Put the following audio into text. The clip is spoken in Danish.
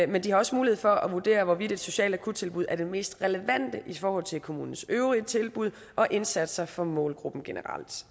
men de har også mulighed for at vurdere hvorvidt et socialt akuttilbud er det mest relevante i forhold til kommunens øvrige tilbud og indsatser for målgruppen generelt